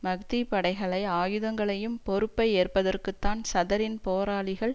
மஹ்தி படைகளை ஆயுதங்களையும் பொறுப்பை ஏற்பதற்குத்தான் சதரின் போராளிகள்